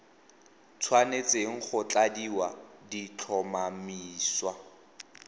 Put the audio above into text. tshwanetseng go tladiwa di tlhomamisiwa